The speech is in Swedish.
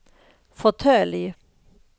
fåtölj